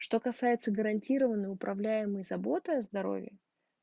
что касается гарантированной управляемой заботой о здоровье